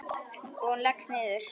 Og hún leggst niður.